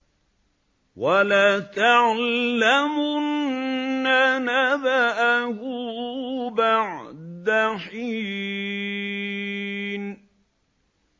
وَلَتَعْلَمُنَّ نَبَأَهُ بَعْدَ حِينٍ